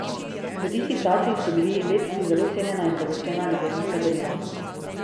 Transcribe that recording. V tistih časih so bili lecti zelo cenjena in dragocena ljubezenska darila.